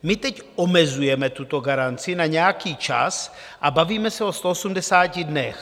My teď omezujeme tuto garanci na nějaký čas a bavíme se o 180 dnech.